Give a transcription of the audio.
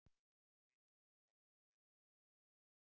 Við vitum að það verður erfitt